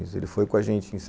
Ele foi com a gente em